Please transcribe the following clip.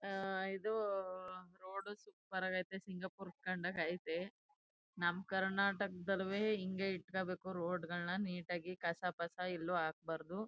ಇದು road super ಆಗ ಅಯ್ತೆ ಸಿಂಗಪೋರ್ ಕಂಡಂಗ್ ಅಯ್ತೆ. ನಮ ಕರ್ನಾಟಕ ದಳ್ಳುವೆ ಹಿಂಗೇ ಇಟ್ಕೋಬೇಕು ರೋಡ್ ಗಳ್ನ ನೀಟಾ ಗಿ ಕಸಪಸ ಎಲ್ಲೊ ಹಾಕಬಾರದು.